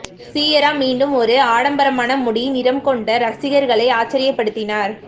Ciara மீண்டும் ஒரு ஆடம்பரமான முடி நிறம் கொண்ட ரசிகர்களை ஆச்சரியப்படுத்தினார்